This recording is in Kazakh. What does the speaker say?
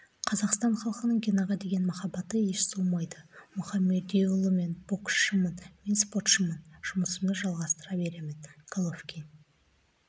қазақстан халқының генаға деген махаббаты еш суымайды мұхамедиұлы мен боксшымын мен спортшымын жұмысымды жалғастыра беремін головкин